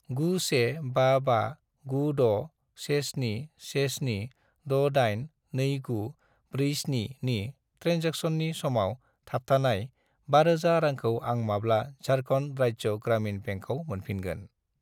9155961717682947 नि ट्रेन्जेकसननि समाव थाबथानाय 5000 रांखौ आं माब्ला झारखन्ड राज्य ग्रामिन बेंकआव मोनफिनगोन?